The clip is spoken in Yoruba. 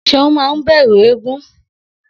S̩eun máa ń bè̩rù eégún